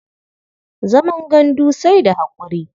Zaman gandu sai da haƙuri.